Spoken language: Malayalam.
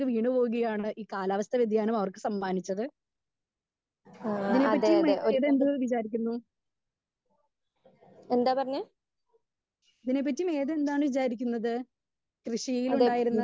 സ്പീക്കർ 2 വീണു പോവുകയാണ് ഈ കാലാവസ്ഥ വ്യതിയാനം അവർക്ക് സമ്മാനിച്ചത്. ഇതിനെ പറ്റിയും മേഘ എന്ത് വിചാരിക്കുന്നു? ഇതിനെ പറ്റി മേഘ എന്താണ് വിചാരിക്കുന്നത്? കൃഷിയിലുണ്ടായിരുന്ന